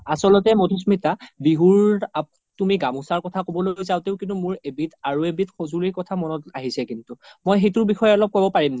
আচলতে মাধুস্মিতা বিহুৰ তুমি গামোচা কোথা ক্'বলৈ যাওতেও কিন্তু মোৰ এবিধ আৰু এবিধ সজোলি কথা মনত আহিছে কিন্তু মই সেইটো বিষেসবিষেসয়ে অলপ ক্'ব পাৰিম নেকি ?